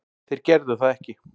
Þeir gerðu það ekki